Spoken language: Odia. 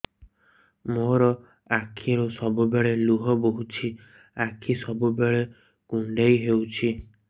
ମୋର ଆଖିରୁ ସବୁବେଳେ ଲୁହ ବୋହୁଛି ଆଖି ସବୁବେଳେ କୁଣ୍ଡେଇ ହଉଚି